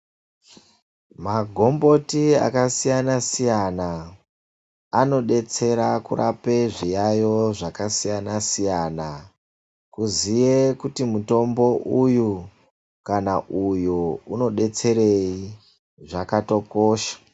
Magomboti akasiyana siyana anobetsera kurapa zviyayo zvakasiyanan siyana uye kuziva kuti mutombo uyu unobetserei zvakatokosha